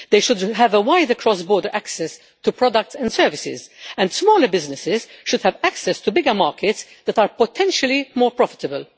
They should have wider cross border access to products and services, and smaller businesses should have access to bigger markets that are potentially more profitable.